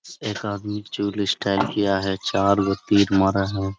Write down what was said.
एक आदमी जुलिस्ट टाइप किया है चार गो तीर मारा है ।